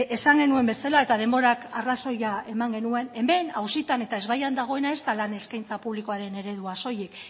esan genuen bezala eta denborak arrazoia eman genuen hemen auzitan eta ezbaian dagoena ez da lan eskaintza publikoaren eredua soilik